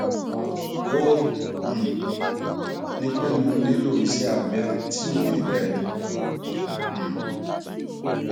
o um ní pé mo nílò iṣẹ abẹ tí ò fi bẹẹ um